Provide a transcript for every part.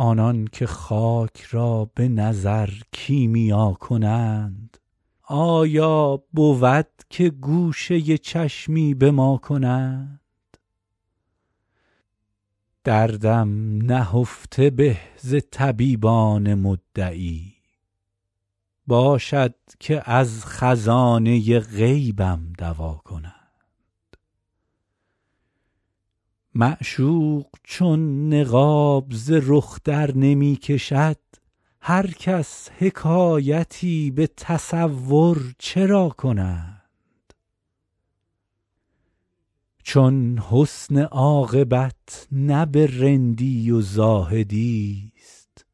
آنان که خاک را به نظر کیمیا کنند آیا بود که گوشه چشمی به ما کنند دردم نهفته به ز طبیبان مدعی باشد که از خزانه غیبم دوا کنند معشوق چون نقاب ز رخ درنمی کشد هر کس حکایتی به تصور چرا کنند چون حسن عاقبت نه به رندی و زاهدی ست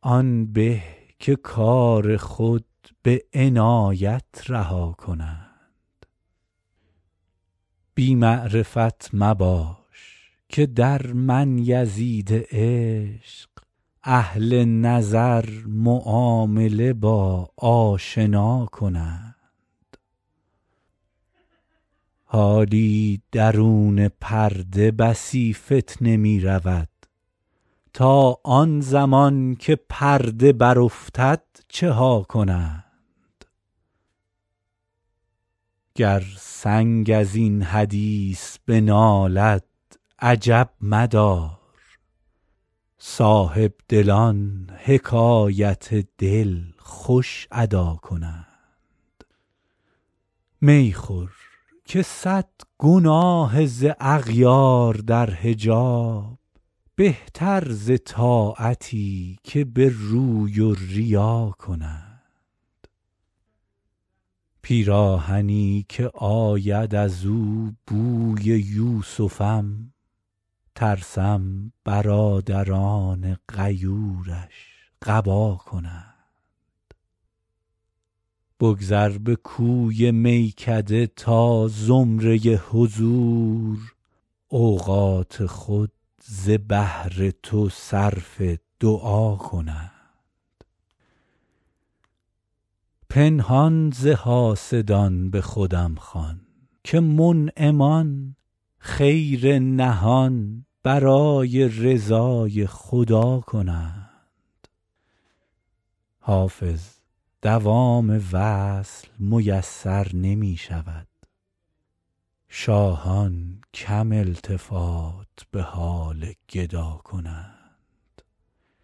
آن به که کار خود به عنایت رها کنند بی معرفت مباش که در من یزید عشق اهل نظر معامله با آشنا کنند حالی درون پرده بسی فتنه می رود تا آن زمان که پرده برافتد چه ها کنند گر سنگ از این حدیث بنالد عجب مدار صاحبدلان حکایت دل خوش ادا کنند می خور که صد گناه ز اغیار در حجاب بهتر ز طاعتی که به روی و ریا کنند پیراهنی که آید از او بوی یوسفم ترسم برادران غیورش قبا کنند بگذر به کوی میکده تا زمره حضور اوقات خود ز بهر تو صرف دعا کنند پنهان ز حاسدان به خودم خوان که منعمان خیر نهان برای رضای خدا کنند حافظ دوام وصل میسر نمی شود شاهان کم التفات به حال گدا کنند